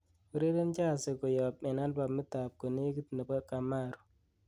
ureren jazi koyop en albamit ab konegit nepo kamaru